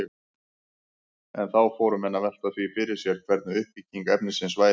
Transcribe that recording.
En þá fóru menn að velta því fyrir sér hvernig uppbygging efnisins væri.